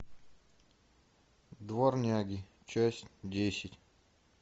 дворняги часть десять